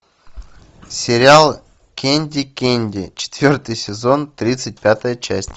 сериал кэнди кэнди четвертый сезон тридцать пятая часть